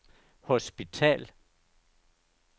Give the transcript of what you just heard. hospital